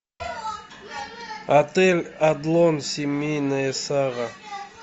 отель адлон семейная сага